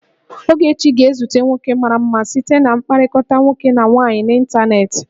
Ogechi ga-ezute nwoke mara mma site na mkpakọrịta nwoke na nwaanyị n'ịntanetị